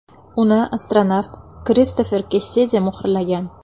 Uni astronavt Kristofer Kessidi muhrlagan.